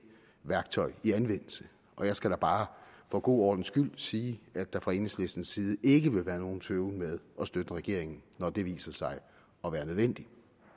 værktøj i anvendelse og jeg skal da bare for god ordens skyld sige at der fra enhedslistens side ikke vil være nogen tøven med at støtte regeringen når det viser sig at være nødvendigt